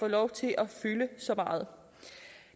lov til at fylde så meget